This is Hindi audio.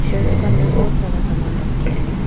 शेल्फ का अंदर बहुत सारा सामान रखे हैं।